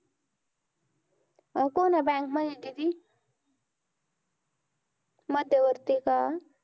अं कोण्या bank मध्ये दीदी? मध्यवर्तीका?